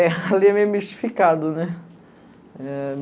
É, ali é meio mistificado, né? Eh